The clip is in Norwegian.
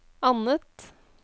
annet